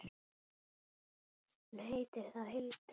Hún heitir þá Hildur!